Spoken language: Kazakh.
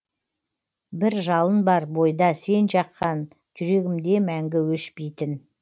бір жалын бар бойда сен жаққан жүрегімде мәңгі өшпейтін